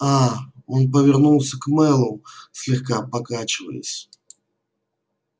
а он повернулся к мэллоу слегка покачиваясь